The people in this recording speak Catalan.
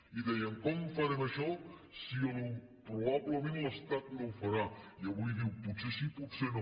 i dèiem com farem això si probablement l’estat no ho farà i avui diu potser sí potser no